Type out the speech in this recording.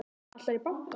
Ætlarðu í bankann?